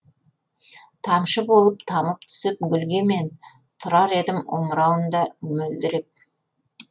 тамшы болып тамып түсіп гүлге мен тұрар едім омырауында мөлдіреп